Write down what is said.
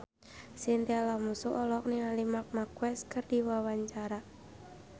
Chintya Lamusu olohok ningali Marc Marquez keur diwawancara